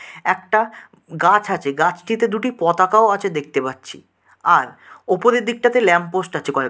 একটা গাছ আছে গাছটিতে দুটি পতাকাও আছে দেখতে পাচ্ছি আর উপরের দিকটাতে ল্যাম্প পোস্ট আছে কয়েকটা।